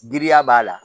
Giriya b'a la